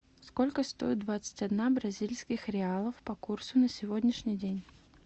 сколько стоит двадцать одна бразильских реалов по курсу на сегодняшний день